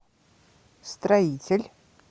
строитель